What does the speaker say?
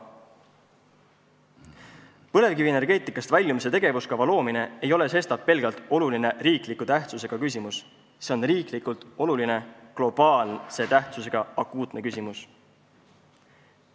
Põlevkivienergeetikast väljumise tegevuskava loomine ei ole sestap pelgalt olulise tähtsusega riiklik küsimus, see on riiklikult oluline globaalse tähtsusega akuutne küsimus.